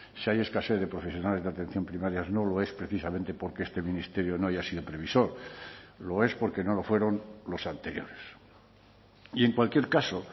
si hay escasez de profesionales de atención primaria no lo es precisamente porque este ministerio no haya sido previsor lo es porque no lo fueron los anteriores y en cualquier caso